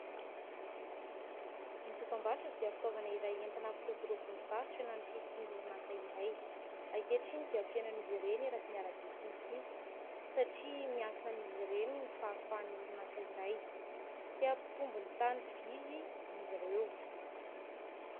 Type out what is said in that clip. Ny dokam-barotra dia fitaovana iray entina hampiroborobo ny varotra na ny fisian'ny orinasa iray. Ankehitriny dia feno an'izy ireny eraky ny arabe sy ny sisa satria miankina amin'izy ireny ny fahafahan'ny orinasa iray. Te hampitombo ny tahan'ny mpividy izy ireo.